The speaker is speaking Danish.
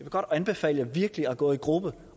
godt anbefale virkelig at gå i gruppe